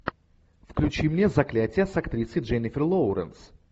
включи мне заклятие с актрисой дженнифер лоуренс